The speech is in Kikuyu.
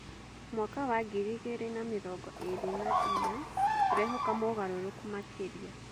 Mwaka wa ngiri igĩrĩ na mĩrongo ĩĩrĩ na inya, tũrehoka mogarũrũku makĩria.